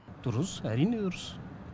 дұрыс әрине дұрыс